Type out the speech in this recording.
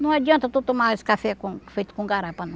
Não adianta tu tomar esse café com feito com garapa, não.